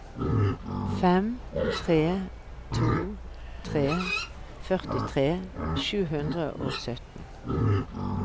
fem tre to tre førtitre sju hundre og sytten